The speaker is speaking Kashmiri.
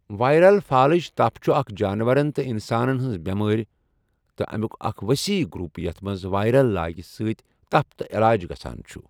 وائرل فالج تپھ چُھ اكھ جانورن تہٕ انسانن ہنزِ بیمارِ تہٕ اَمیک اكھ وسیح گروٗپ یَتھ منٛز وائرل لاگہِ سۭتۍ تپھ تہٕ علاج گژھان چُھ ۔